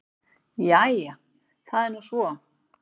Jæja það er nú svo.